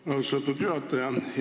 Aitäh, austatud juhataja!